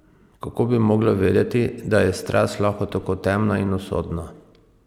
Kako bi mogla vedeti, da je strast lahko tako temna in usodna?